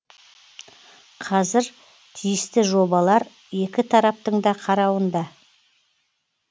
қазір тиісті жобалар екі тараптың да қарауында